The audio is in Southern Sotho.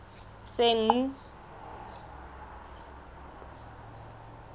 senqu